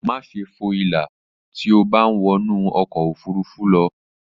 Máṣe fo ìlà tí o bá ń wọnú ọkọ̀ ofurufú lọ